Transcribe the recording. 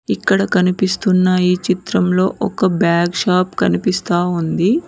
ఇక్కడ కనిపిస్తున్న ఈ చిత్రంలో ఒక బాగ్ షాప్ కనిపిస్తా ఉంది.